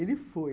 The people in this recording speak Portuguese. Ele foi.